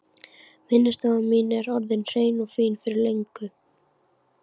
Vinnustofan mín er orðin hrein og fín fyrir löngu.